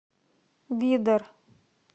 бидар